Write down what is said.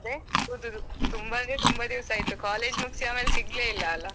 ಹೌದೌದು ತುಂಬಾ ಅಂದ್ರೆ ತುಂಬಾ ದಿವಸ ಆಯಿತು college ಮುಗಿಸಿ ಆಮೇಲೆ ಸಿಗಲೇ ಇಲ್ಲಾ ಅಲಾ .